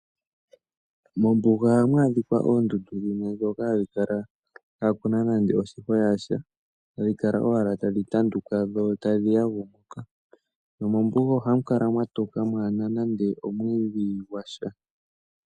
Mombuga ohamu adhika oondundu dhimwe ndhoka hadhi kala kaa kuna nande oshihwa shasha, hadhi kala owala tadhi tanduka dho tadhi yagumuka. Nomombuga ohamu kala mwatoka mwaana nande omwiidhi gwasha.